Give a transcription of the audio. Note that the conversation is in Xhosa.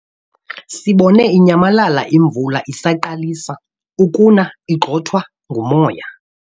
Sibone inyamalala imvula isaqalisa ukuna igxothwa ngumoya.